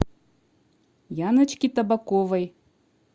яночки табаковой